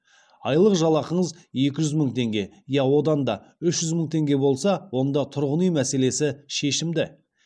айлық жалақыңыз екі жүз мың теңге я одан да көп үш жүз мың теңге болса онда тұрғын үй мәселесі шешімді